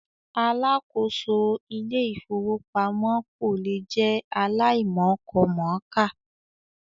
Alákòóso Ilé-ìfowópamọ́ kò lè jẹ́ aláìmọkọmọ̀ọ́kà.